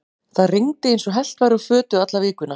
Það rigndi eins og hellt væri úr fötu alla vikuna.